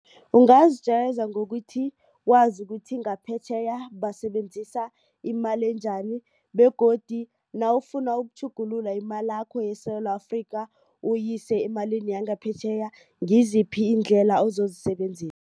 Ungazijayeza ngokuthi wazi ukuthi ngaphetjheya basebenzisa imali enjani begodu nawufuna ukutjhugulula imalakho yeSewula Afrika uyise emalini yangaphetjheya ngiziphi iindlela ozozisebenzisa.